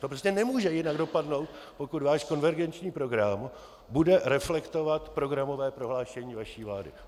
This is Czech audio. To prostě nemůže jinak dopadnout, pokud váš konvergenční program bude reflektovat programové prohlášení vaší vlády.